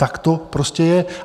Tak to prostě je.